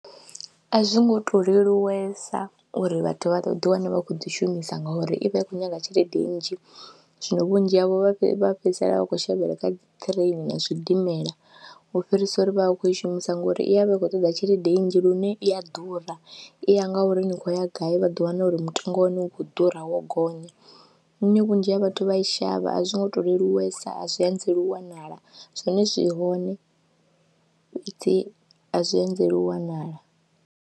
A zwi ngo tou leluwesa uri vhathu vha ḓiwane vha khou ḓi shumisa ngori i vha i khou nyaga tshelede nnzhi zwino vhunzhi havho vha vha fhedzisela vha khou shavhela kha dzi ṱireini na zwidimela u fhirisa uri vha vha khou i shumisa ngori i vha i khou ṱoḓa tshelede nnzhi lune i a ḓura i ya nga uri ni khou ya gai vha ḓo wana uri mutengo wane u khou ḓura, wo gonya nnyi vhunzhi ha vhathu vha i shavha a zwi ngo to leluwesa a zwi anzela u wanala zwone zwi hone dzi a zwi anzeli u wanala.